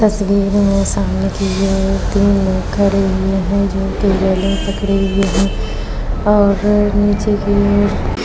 तस्वीर में सामने की ओर तीन वर्कर लिए है जो की गले पकड़े हुए हैं और नीचे की ओर --